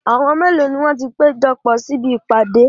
Àwọn mélòó ni wọ́n ti péjọpọ̀ sí ibi ìpàdé?